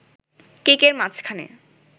কেকের মাঝখানে